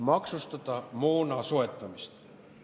– maksustada moona soetamist.